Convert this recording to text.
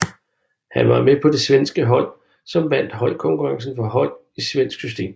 Han var med på det svenske hold som vandt holdkonkurrencen for hold i svensk system